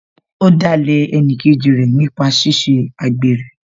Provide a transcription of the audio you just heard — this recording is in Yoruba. Ó dalẹ̀ ẹnìkejì rẹ̀ nípa ṣíṣe àgbèrè